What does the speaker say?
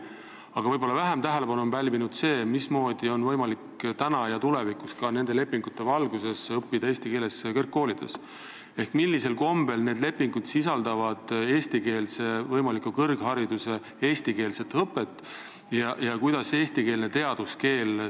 Võib-olla on aga vähem tähelepanu pälvinud see, mismoodi on võimalik praegu ja tulevikus nende lepingute valguses kõrgkoolides eesti keeles õppida ehk millisel kombel sisaldavad need lepingud võimalikku eestikeelset õpet kõrghariduses ja kuidas on meie riigis kaitstud eestikeelne teaduskeel.